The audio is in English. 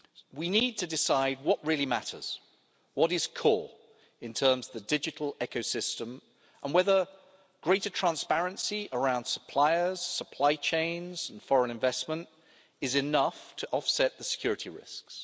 We need to decide what really matters, what is core in terms of the digital ecosystem, and whether greater transparency around suppliers, supply chains and foreign investment is enough to offset the security risks.